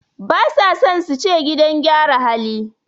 Basa son suce gidan gyara hali